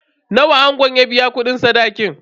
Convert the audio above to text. Nawa ango ya biya kudin sadaki?